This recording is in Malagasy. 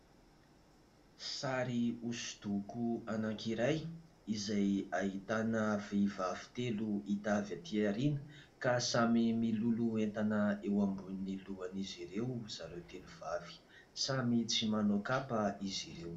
Sary hosodoko anankiray izay ahitana vehivavy telo hita avy aty aoriana ka samy miloloha entana eo ambony ny lohan'izy ireo zareo telo vavy, samy tsy manao kapa izy ireo.